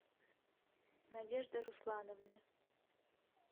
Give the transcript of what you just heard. надежды руслановны